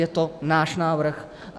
Je to náš návrh.